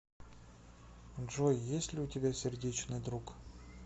джой есть ли у тебя сердечный друг